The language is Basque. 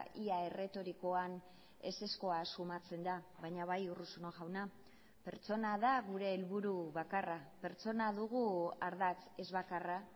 ia erretorikoan ezezkoa sumatzen da baina bai urruzuno jauna pertsona da gure helburu bakarra pertsona dugu ardatz ez bakarra